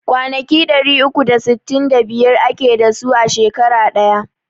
Kwanaki ɗari uku da sittin da biyar ake dasu a shekara daya